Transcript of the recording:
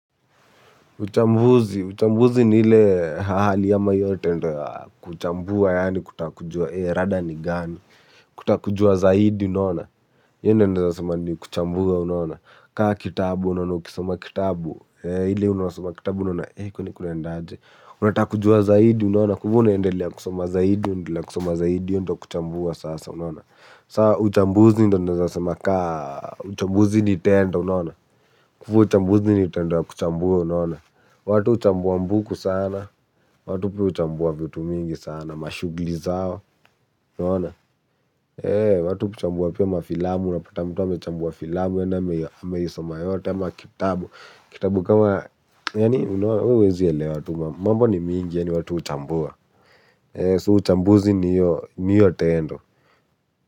Uchambuzi. Uchambuzi ni ile hali ama hiyo tendo ya kuchambua yaani kutakujua ee rada ni gani. Kutakujua zaidi unona. Hiyo ndo naweza kusema ni kuchambua unaona. Kaa kitabu unaona ukisoma kitabu eeh ili unasoma kitabu unaona. Eko kwani kuna endaje. Unataka kujua zaidi unaona. Kwa hivyo unaendelea kusoma zaidi hiyo ndo kuchambua sasa unaona. Saa uchambuzi ndo naweza sema kaa. Uchambuzi ni tendo unaona. Kwa hivyo uchambuzi ni tendo ya kuchambua unaona. Watu uchambua mbuku sana. Watu pia uchambua vitu mingi sana. Mashughuli zao unaona. Eee watu kuchambua pia mafilamu unapata mtu amechambua filamu yaani ameisoma yote ama kitabu kitabu kama yaani unaona huwezi elewa tu. Mambo ni mingi yaani watu huchambua. So uchambuzi ni hiyo tendo.